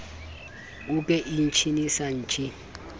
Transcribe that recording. uke ichi ni san ji